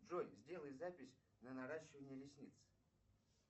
джой сделай запись на наращивание ресниц